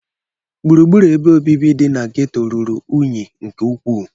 Gburugburu ebe obibi dị na geto ruru unyi nke ukwuu